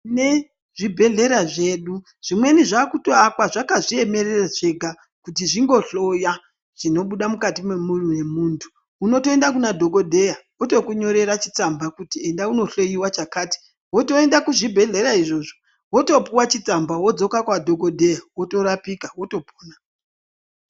Nezvibhehlera zvedu zvimweni zvakutoakwa zvakazviemerera zvega kuti zvingohloya zvinobuda mukati memuviri wemuntu. Unotoenda Kuna dhokodheya otokunyorera chitsamba kuti enda undohlowiwa chakati wotoenda kuzvibhehlera izvozvo wotopuwa chitsamba wodzoka kwadhokodheya worapika wotopona.